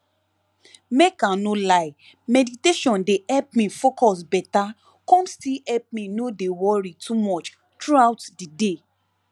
make i nor lie meditation dey help me focus beta com still help me no dey worry too much throughout the day